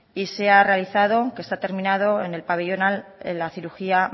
y se ha realizado que está terminado en el pabellón a la cirugía